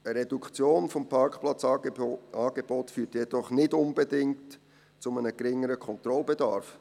Eine Reduktion des Parkplatzangebots führt jedoch nicht unbedingt zu einem geringeren Kontrollbedarf.